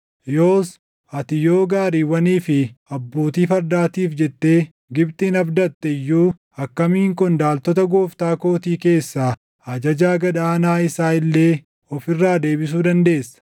Yoos ati yoo gaariiwwanii fi abbootii fardaatiif jettee Gibxin abdatte iyyuu, akkamiin qondaaltota gooftaa kootii keessaa ajajaa gad aanaa isaa illee of irraa deebisuu dandeessa?